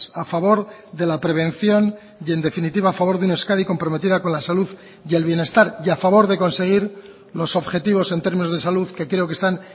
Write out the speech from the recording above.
a favor de la prevención y en definitiva a favor de una euskadi comprometida con la salud y el bienestar y a favor de conseguir los objetivos en términos de salud que creo que están